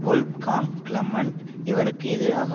Wolfgang Clement இவருக்கு எதிராக